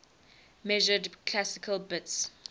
measured classical bits